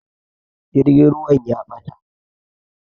Jirgin ruwan ya ɓata